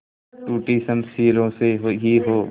टूटी शमशीरों से ही हो